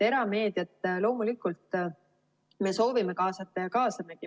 Erameediat loomulikult me soovime kaasata ja kaasamegi.